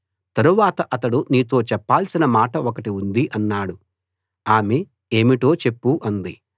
తరువాత అతడు నీతో చెప్పాల్సిన మాట ఒకటి ఉంది అన్నాడు ఆమె ఏమిటో చెప్పు అంది